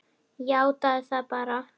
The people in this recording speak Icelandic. Játaðu það bara!